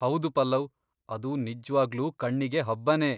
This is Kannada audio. ಹೌದು ಪಲ್ಲವ್! ಅದು ನಿಜ್ವಾಗ್ಲೂ ಕಣ್ಣಿಗೆ ಹಬ್ಬನೇ.